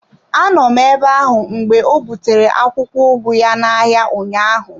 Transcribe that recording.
A nọ m ebe ahụ mgbe o butere akwụkwọ ugu ya n'ahịa ụnyaahụ.